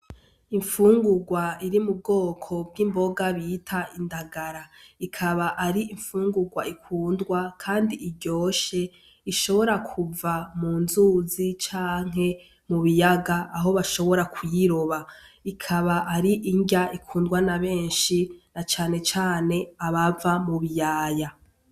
Imfungurwa iri mu bwoko bw'imboga bita indagara ikaba ar'imfungurwa ikundwa, kandi iryoshe ishobora kuva mu nzuzi canke mu biyaga aho bashobora kuyiroba ikaba ar'inrya ikundwa na benshi na canecane abava mu biyaya.